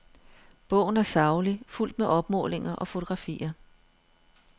Bogen er saglig, fuldt med opmålinger og fotografier.